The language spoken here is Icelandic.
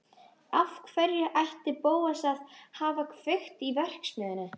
Af hverju ætti Bóas að hafa kveikt í verksmiðjunni?